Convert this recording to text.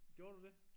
Gjorde du det?